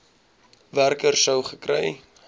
werker sou gekry